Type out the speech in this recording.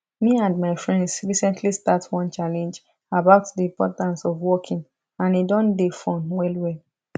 me and my friends recently start one challenge about the importance of walking and e don dey fun well well